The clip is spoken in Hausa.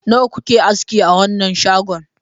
Nawa kuke aski a wanan shagon?